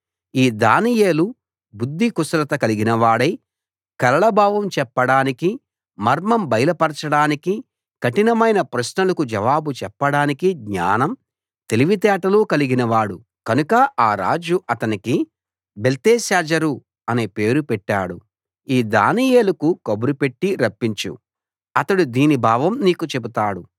ఈ దానియేలు బుద్ధికుశలత కలిగినవాడై కలల భావం చెప్పడానికి మర్మం బయలుపరచడానికి కఠినమైన ప్రశ్నలకు జవాబు చెప్పడానికి జ్ఞానం తెలివితేటలు కలిగినవాడు కనుక ఆ రాజు అతనికి బెల్తెషాజరు అని పేరు పెట్టాడు ఈ దానియేలుకు కబురు పెట్టి రప్పించు అతడు దీని భావం నీకు చెబుతాడు